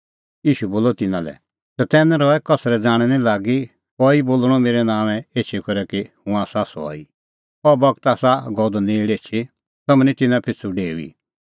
ईशू बोलअ तिन्नां लै चतैन रहै कसरै ज़ाणैं निं लागी कई बोल़णअ मेरै नांओंऐं एछी करै कि हुंह आसा सह ई अह बगत आसा गअ द नेल़ एछी तम्हैं तिन्नां पिछ़ू निं डेऊई